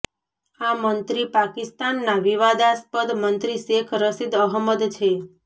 આ મંત્રી પાકિસ્તાનનાં વિવાદાસ્પદ મંત્રી શેખ રશીદ અહમદ છે